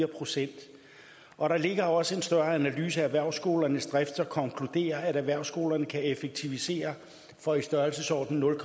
procent og der ligger også en større analyse af erhvervsskolernes drift der konkluderer at erhvervsskolerne kan effektivisere for i størrelsesordenen nul